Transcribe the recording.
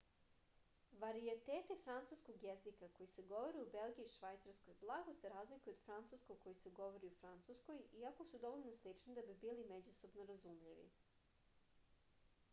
varijeteti francuskog jezika koji se govore u belgiji i švajcarskoj blago se razlikuju od francuskog koji se govori u francuskoj iako su dovoljno slični da bi bili međusobno razumljivi